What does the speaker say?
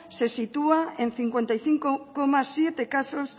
se sitúa en cincuenta y cinco coma siete casos